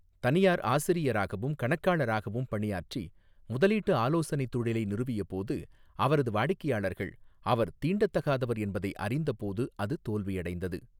தனியார் ஆசிரியராகவும் கணக்காளராகவும் பணியாற்றி முதலீட்டு ஆலோசனை தொழிலை நிறுவியபோது, அவரது வாடிக்கையாளர்கள், அவர் தீண்டத்தகாதவர் என்பதை அறிந்தபோது அது தோல்வியடைந்தது.